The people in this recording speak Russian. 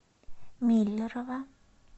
миллерово